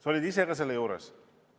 Sa olid ise ka selle juures.